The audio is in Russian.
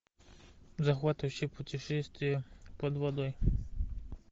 захватывающее путешествие под водой